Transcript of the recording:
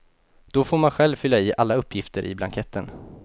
Då får man själv fylla i alla uppgifter i blanketten.